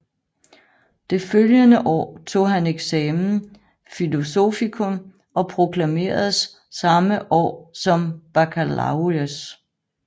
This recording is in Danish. Det følgende år tog han examen philosophicum og proklameredes samme år som baccalaureus